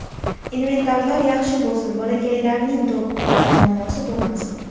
Inventarlar yaxshi bo‘lsin, bolakaylarning to‘p bilan muammosi bo‘lmasin.